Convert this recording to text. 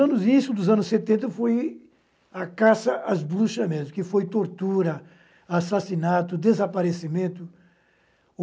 anos, isso dos anos setenta foi a caça às bruxas mesmo, que foi tortura, assassinato, desaparecimento.